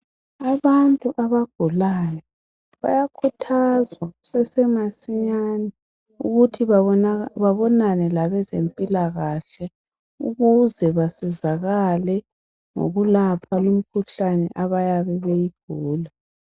Abantu abagulayo bayakhuthazwa kusese masinyane ukuthi babonane labezempilakahle ukuze basizakale ngokulapha imikhuhlane abayabe beyigula